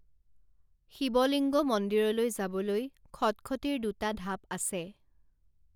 শিৱ লিংগ মন্দিৰলৈ যাবলৈ খটখটীৰ দুটা ঢাপ আছে৷